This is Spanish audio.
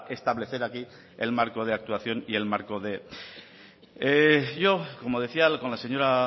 establecer aquí el marco de actuación y el marco de yo como decía con la señora